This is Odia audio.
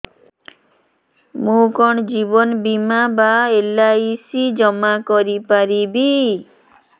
ମୁ କଣ ଜୀବନ ବୀମା ବା ଏଲ୍.ଆଇ.ସି ଜମା କରି ପାରିବି